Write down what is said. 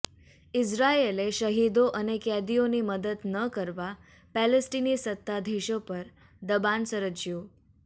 ઈઝરાયેલે શહીદો અને કેદીઓની મદદ ન કરવા પેલેસ્ટીની સત્તાધીશો પર દબાણ સર્જ્યું